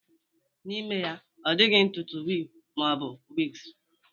N'ime ya, ọ dịghị ntutu wuru ma ọ bụ wigs